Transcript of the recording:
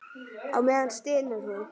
Á meðan stynur hún.